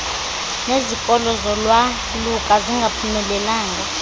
nezikolo zolwaluka zingaphumelelanga